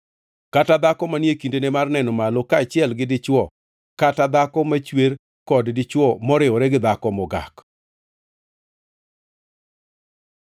kata dhako manie kindeno mar neno malo kaachiel gi dichwo kata dhako machwer kod dichwo moriwore gi dhako mogak.